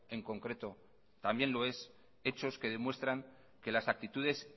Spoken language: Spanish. en concreto también lo es hechos que demuestran que las actitudes